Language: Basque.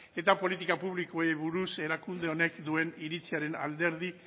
eta politika publikoei buruz erakunde honek duen iritziaren alderdi